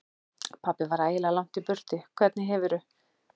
Pabbi var ægilega langt í burtu. Hvernig hefurðu.